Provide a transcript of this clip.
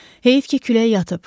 Heyif ki, külək yatıb.